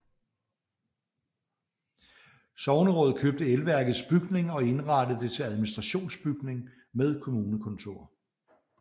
Sognerådet købte elværkets bygning og indrettede det til administrationsbygning med kommunekontor